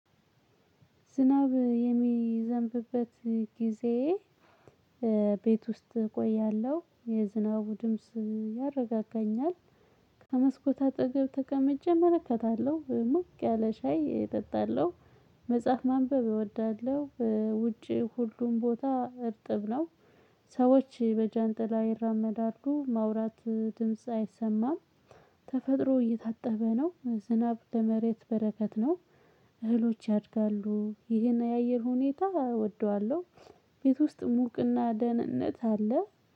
ዝናብ የሚዘንብበት ጊዜ ቤት ውስጥ እቆያለሁ የዝናቡ ድምጽ ያረጋጋኛል። ከመስኮት አጠገብ ተቀምጬ እመለከታለሁ ሞቅ ያለ ሻይ እጠጣለሁ። መጽሐፍ ማንበብ እወዳለሁ። ውጪ ሁሉም ቦታ እርጥብ ነው። ሰዎች በጃንጥላ ይራመዳሉ ማውራት ድምጽ አይሰማም። ተፈጥሮ እየታጠበ ነው። ዝናብ ለመሬት በረከት ነው። እህሎች ያድጋሉ ይሄን የአየር ሁኔታ እወደዋለሁ። ቤት ውስጥ ሙቅና ደህንነት አለ።